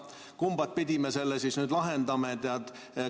Kumba pidi me selle nüüd lahendame?